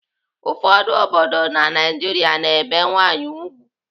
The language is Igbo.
Ụfọdụ obodo na Naijiria na-ebe nwaanyị ùgwù.